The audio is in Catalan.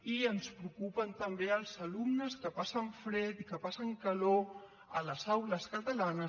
i ens preocupen també els alumnes que passen fred i que passen calor a les aules catalanes